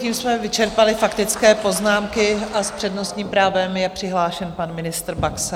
Tím jsme vyčerpali faktické poznámky a s přednostním právem je přihlášen pan ministr Baxa.